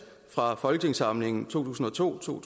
fra folketingssamlingen to tusind og to to